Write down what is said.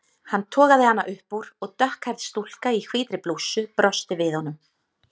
Hann togaði hana upp úr og dökkhærð stúlka í hvítri blússu brosti við honum.